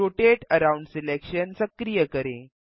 rotate around selection सक्रिय करें